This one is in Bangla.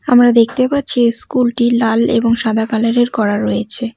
আমরা দেখতে পাচ্ছি স্কুল -টি লাল এবং সাদা কালার -এর করা রয়েছে।